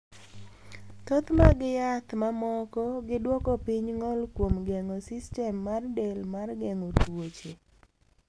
Thoth mag yath mamoko gi dwoko piny ng’ol kuom geng’o sistem mar del mar geng’o tuoche.